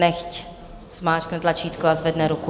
Nechť zmáčkne tlačítko a zvedne ruku.